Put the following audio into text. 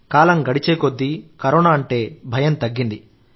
కాలం గడిచేకొద్దీ కరోనా అంటే భయం తగ్గింది